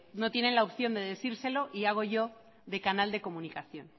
no tienen la opción de decírselo y hago yo de canal de comunicación